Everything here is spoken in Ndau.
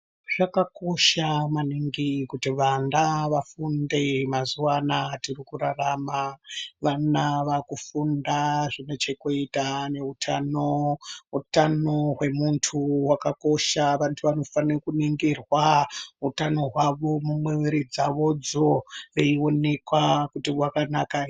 Zvakakosha maningi kuti vana vafunde mazuwa anaa atirikurarama. Vana vaakufunda zvinechekuita neutano, utano hwemuntu hwakakosha. Vantu vanofanire kuningirwa utano hwavo mwiri dzavodzo veionekwa kuti hwakanaka.